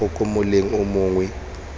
gago kwa moleng o mongwe